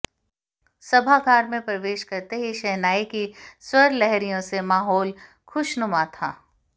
सभागार में प्रवेश करते ही शहनाई की स्वरलहरियों से माहौल खुशनुमा था